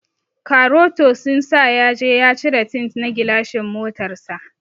Karoto sun sa yaje ya cire tint na gilashin motar sa.